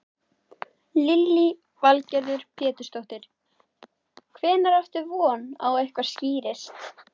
Lillý Valgerður Pétursdóttir: Hvenær áttu von á að eitthvað skýrist?